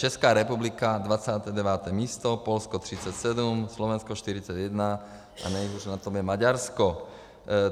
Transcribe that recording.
Česká republika 29. místo, Polsko 37, Slovensko 41 a nejhůř na tom je Maďarsko.